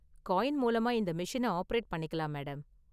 Coin மூலமா இந்த மெஷின ஆபரேட் பண்ணிக்கலாம், மேடம்.